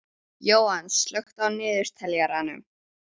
Jóann, slökktu á niðurteljaranum.